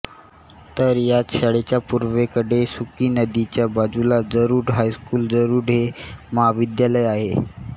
तर याच शाळेच्या पुर्वेकडे सुकी नदीच्या बाजूला जरुड हायस्कुल जरुड हे महाविद्यालय आहे